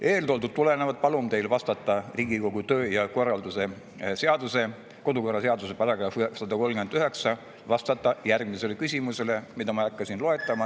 Eeltoodust ning Riigikogu kodu‑ ja töökorra seaduse §‑st 139 tulenevalt palun teil vastata küsimustele, mida ma ei hakka siin.